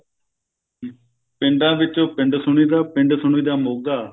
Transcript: ਪਿੰਡਾਂ ਵਿੱਚੋ ਪਿੰਡ ਸੁਣੀਦਾ ਪਿੰਡ ਸੁਣੀ ਦਾ ਮੋਗਾ